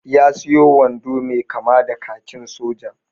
Ya sayo wando mai kama da kakin soja.